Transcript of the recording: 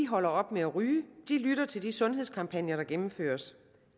holder op med at ryge de lytter til de sundhedskampagner der gennemføres